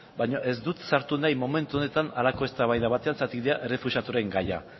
baino ez dut sartu nahi momentu honetan halako eztabaida batean zergatik dira errefuxiaturen gaia